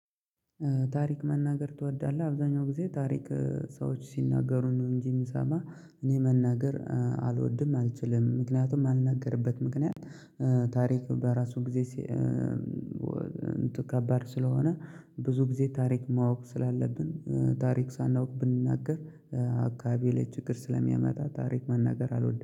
ታሪክ መናገር ትወዳለህ? አብዛኛው ጊዜ ታሪክ ሰዎች ሲናገሩ ነው እንጂ የምሰማው እኔ መናገር አልወድም አልችልም ምክንያቱም የማልናገርበት ምክንያት ታሪክ በራሱ ጊዜ። ከባድ ስለሆነ ብዙ ጊዜ ታሪክ ማወቅ ስላለብን ታሪክ ሳናውቅ ብንናገር አካባቢ ላይ ችግር ስለሚያመጣ ታሪክ መናገር አልወድም